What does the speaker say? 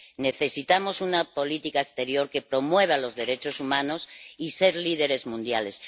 Necesitamos una política exterior que promueva los derechos humanos y ser líderes mundiales.